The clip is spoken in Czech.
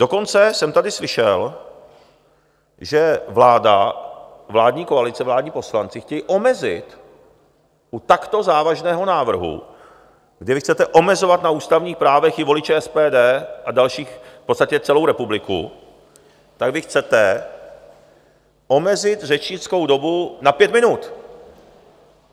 Dokonce jsem tady slyšel, že vláda, vládní koalice, vládní poslanci chtějí omezit u takto závažného návrhu, kde vy chcete omezovat na ústavních právech i voliče SPD a další, v podstatě celou republiku, tak vy chcete omezit řečnickou dobu na pět minut.